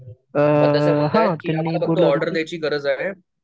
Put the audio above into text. आता मला पुढं ऑर्डर द्यायची गरज आहे